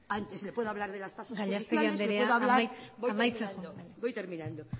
antes le puedo hablar de las tasas judiciales gallastegui andrea amaitzen joan voy terminando